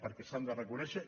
perquè s’ha de reconèixer